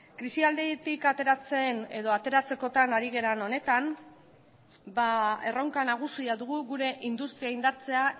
krisialditik ateratzen edo ateratzekotan ari garen honetan erronka nagusia dugu gure industria indartzea